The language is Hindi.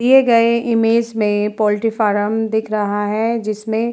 दिए गए इमेज में पॉल्ट्री फार्म दिख रहा है। जिसमे --